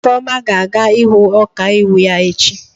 Ifeoma ga-aga ịhụ ọkaiwu ya echi.